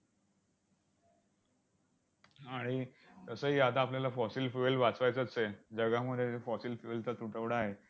आणि तसंही आता आपल्याला fossil fuel वाचवायचंच आहे. जगामध्ये fossil fuel चा तुटवडा आहे.